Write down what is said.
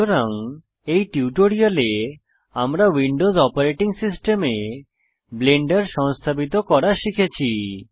সুতরাং এই টিউটোরিয়ালে আমরা উইন্ডোজ অপারেটিং সিস্টেমে ব্লেন্ডার সংস্থাপিত করা শিখেছি